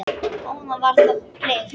Áðan var það bleikt.